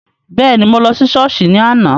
Bẹ́ẹ̀ni, mo lọ Sọ́ọ́sì ni àná.